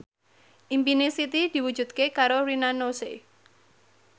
impine Siti diwujudke karo Rina Nose